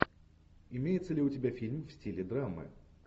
имеется ли у тебя фильм в стиле драмы